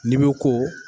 N'i bɛ ko